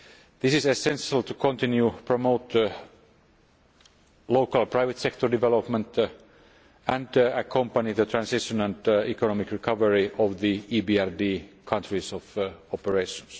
This is essential to continue to promote local private sector development and accompany the transition and economic recovery of the EBRD countries of operation.